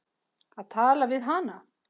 Að tala við hana!